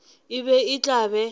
e be e tla be